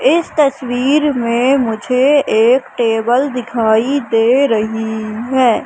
इस तस्वीर में मुझे एक टेबल दिखाई दे रही है।